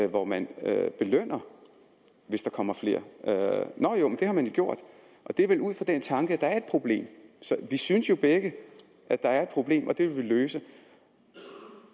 hvor man belønner hvis der kommer flere det har man jo gjort og det er vel ud fra den tanke at der er et problem vi synes jo begge at der er et problem og det vil vi løse